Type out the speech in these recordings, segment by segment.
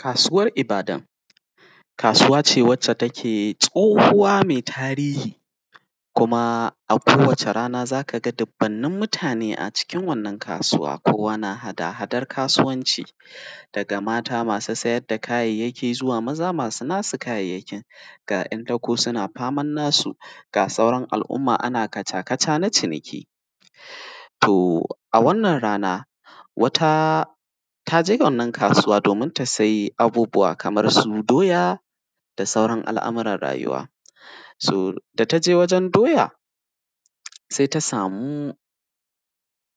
Kasuwar Ibadan, kasuwa ce wacce take tsohuwa mai tarihi. Kuma a kowace rana z aka ga dubunnan mutane a cikin wannan kasuwa, kowa yana hada-hadan kasuwanci. Daga mata masu sayar da kayayyyaki, zuwa maza masu kayayyyaki, ga ‘yan dako suna ta faman nasu ga sauran al’uma ana kaca-kaca na ciniki. To a wannnan rana, wata ta je wannnan kasuwa, domin ta saya abubuwa kamar su doya, da sauran al’a’muran rayuwa. So da ta je wurin sai ta samu,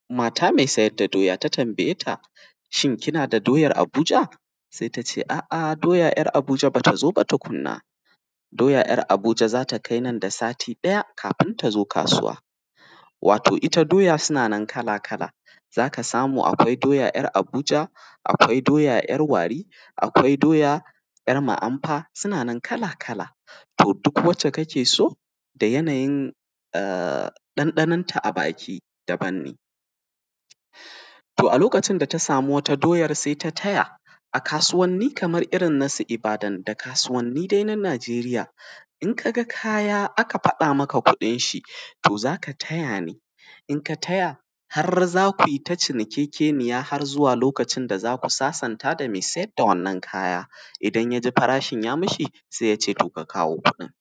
mata mai sayadda doya, ta tambaye ta shi kina da doyar Abuja? Sai ta ce doya ‘yar Abuja tba ta zo ba tukunna. Doya yar Abuja sai nan da sati ɗaya kafin ta zo kasuwa. Wato ita dai doya suna nan kala-kala, z a ka samu akwai doya yar Abuja, akwai doya, yar Wari, akwai doya yar Muanfa, suna nan kala-kala. To duk waccce kake so, da yanayin ɗanɗanan ta baki daban ne. To a lokacin da ta sami wata doyar sai ta taya, a kasuwanni kamar su irin ta Ibadan da kasuwanni dai na Najeriya in ka ga kaya aka gaya maka kuɗin shi, to z aka taya ne in ka taya za kui ta cinikekeniya har zuwa lokacin da za ki sasanta. Da mai sayar da wannnan kaya. Idan ya ji farashin ya mashi sai y ace to ka kawo kuɗin.